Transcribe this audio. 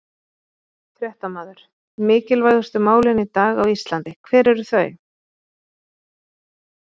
Fréttamaður: Mikilvægustu málin í dag á Íslandi, hver eru þau?